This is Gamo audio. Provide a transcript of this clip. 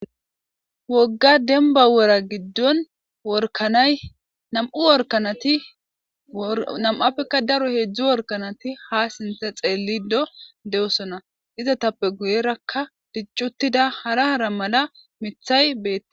wogga denba wora giddon workanay nam7u workanati nam7appekka daro heedzdzu workanati ha sinte xeellido de7osona izatappe guyerakka diccuttida hara hara mala mithay beti